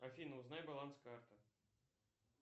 афина узнай баланс карты